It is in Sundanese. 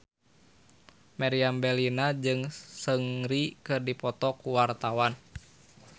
Meriam Bellina jeung Seungri keur dipoto ku wartawan